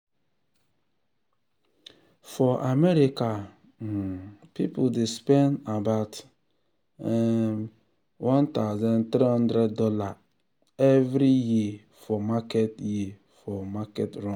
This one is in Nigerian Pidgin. for america um people dey spend about [um]one thousand three hundred dollarsevery um year for market year for market runs.